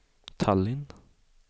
Tallinn